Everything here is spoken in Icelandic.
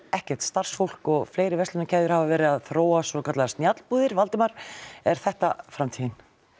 ekkert starfsfólk og fleiri verslunarkeðjur hafa verið að þróa svokallaða snjallbúðir Valdimar er þetta framtíðin